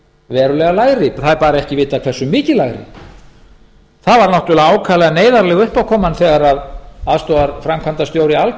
verulega lægri en það er bara ekki vitað hversu mikið lægri það var náttúrlega ákaflega neyðarleg uppákoma þegar aðstoðarframkvæmdastjóri alcoa missti